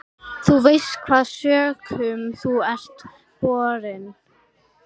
Þú veist hvaða sökum þú ert borinn.